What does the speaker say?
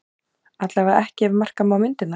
Allavega ekki ef marka má myndirnar